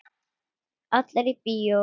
Allir í bíó!